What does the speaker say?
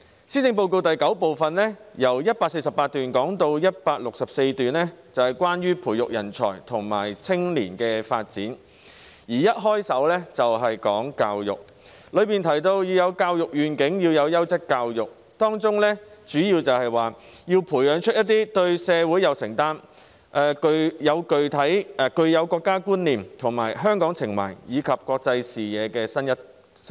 施政報告第九部分第148段至第164段是關於培育人才和青年發展，當中一開首便談到教育，提到要有教育願景及優質教育，主要提出要培養對社會有承擔，具國家觀念、香港情懷和國際視野的新一代。